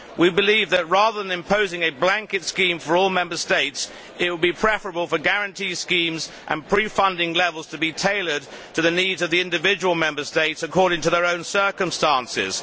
We believe that, rather than imposing a blanket scheme for all Member States, it will be preferable for guarantee schemes and pre funding levels to be tailored to the needs of the individual Member States, according to their own circumstances.